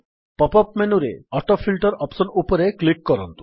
pop up ମେନୁରେ autofilter option ଉପରେ click କରନ୍ତୁ